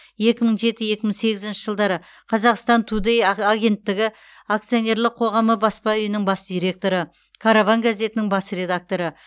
екі мың жеті екі мың сегізінші жылдары қазақстан тудэй агенттігі акционерлік қоғамының баспа үйінің бас директоры караван газетінің бас редакторы